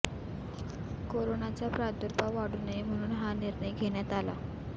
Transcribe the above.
कोरोनाचा प्रादुर्भाव वाढू नये म्हणून हा निर्णय घेण्यात आला